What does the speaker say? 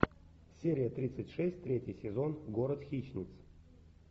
серия тридцать шесть третий сезон город хищниц